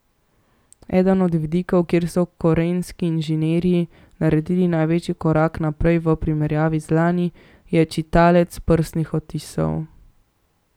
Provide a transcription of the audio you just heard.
Eden od vidikov, kjer so korejski inženirji naredili največji korak naprej v primerjavi z lani, je čitalec prstnih odtisov.